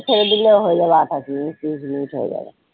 ছেড়ে দিলেও হয়ে যাবে আঠাশ মিনিট ত্রিশ মিনিট হয়ে যাবে।